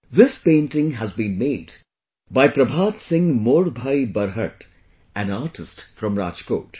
This painting had been made by Prabhat Singh Modbhai Barhat, an artist from Rajkot